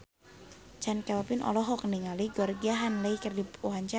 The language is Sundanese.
Chand Kelvin olohok ningali Georgie Henley keur diwawancara